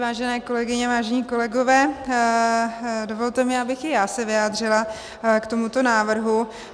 Vážené kolegyně, vážení kolegové, dovolte mi, abych i já se vyjádřila k tomuto návrhu.